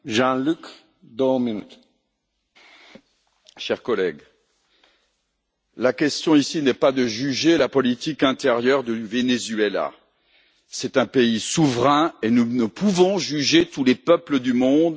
Monsieur le Président, chers collègues, la question ici n'est pas de juger la politique intérieure du Venezuela. C'est un pays souverain et nous ne pouvons juger tous les peuples du monde.